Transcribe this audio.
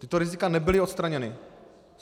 Tato rizika nebyla odstraněna.